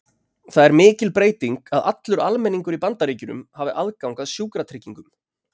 Það er mikil breyting að allur almenningur í Bandaríkjunum hafi aðgang að sjúkratryggingum.